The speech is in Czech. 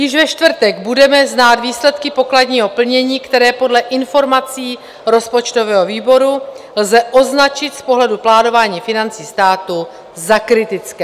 Již ve čtvrtek budeme znát výsledky pokladního plnění, které podle informací rozpočtového výboru lze označit z pohledu plánování financí státu za kritické.